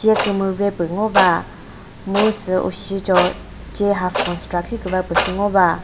che kümüre püh ngo va mu ushi cho che half construct shi kümüva pü shi ngo va.